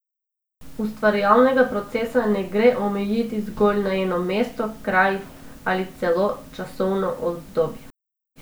Ustvarjalnega procesa ne gre omejiti zgolj na eno mesto, kraj ali celo časovno obdobje.